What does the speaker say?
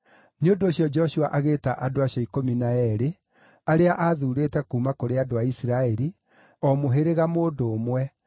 Nĩ ũndũ ũcio Joshua agĩĩta andũ acio ikũmi na eerĩ arĩa aathuurĩte kuuma kũrĩ andũ a Isiraeli, o mũhĩrĩga mũndũ ũmwe,